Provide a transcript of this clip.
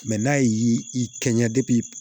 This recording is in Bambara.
Mɛ n'a y'i kɛɲɛ